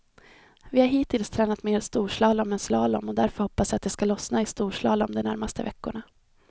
Vi har hittills tränat mer storslalom än slalom och därför hoppas jag det skall lossna i storslalom de närmaste veckorna.